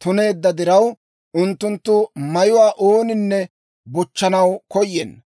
tuneedda diraw, unttunttu mayuwaa ooninne bochchanaw koyenna.